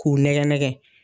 K'u nɛgɛn nɛgɛn,